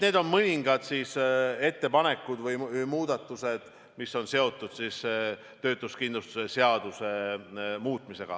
Need on mõningad ettepanekud või muudatused, mis on seotud töötuskindlustuse seaduse muutmisega.